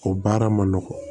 O baara ma nɔgɔn